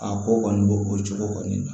A ko kɔni b'o o cogo kɔni na